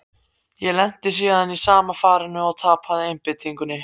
Ég lenti síðan í sama farinu, og tapaði einbeitingunni.